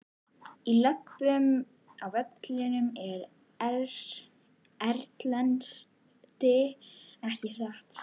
Við löbbum á völlinn erlendis ekki satt?